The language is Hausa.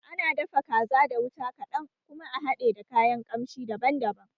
Ana dafa kaza da wuta kaɗan kuma a hade da kayan kamshi daban daban